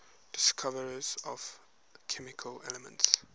discoverers of chemical elements